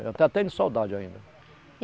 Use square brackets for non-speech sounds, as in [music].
Eu até tenho saudade ainda. [unintelligible]